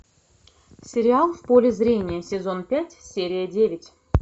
сериал в поле зрения сезон пять серия девять